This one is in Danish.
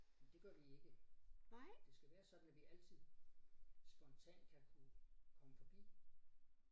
Det gør vi ikke. Det skal være sådan at vi altid spontant kan kunne komme forbi